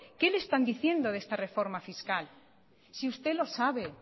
qué le están diciendo de esta reforma fiscal si usted lo sabe